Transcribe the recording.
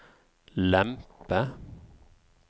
lempe